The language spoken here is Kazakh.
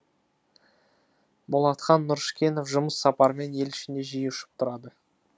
болатхан нұрышкенов жұмыс сапарымен ел ішінде жиі ұшып тұрады